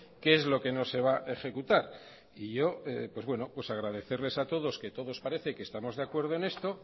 qué es lo que no se va a ejecutar y yo pues bueno pues agradecerles a todos que todos parece que estamos de acuerdo en esto